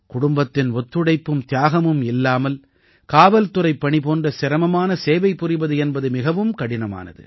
குடும்பத்தின் ஒத்துழைப்பும் தியாகமும் இல்லாமல் காவல்துறைப்பணி போன்ற சிரமமான சேவை புரிவது என்பது மிகவும் கடினமானது